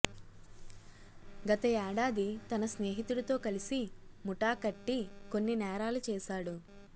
గత ఏడాది తన స్నేహితుడితో కలిసి ముఠా కట్టి కొన్ని నేరాలు చేశాడు